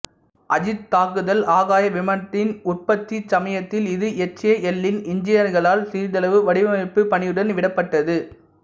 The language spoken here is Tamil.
அஜீத் தாக்குதல் ஆகாய விமானத்தின் உற்பத்தி சமயத்தில் இது எச்ஏஎல்லின் இன்ஜினியர்களால் சிறிதளவு வடிவமைப்புப் பணியுடன் விடப்பட்டது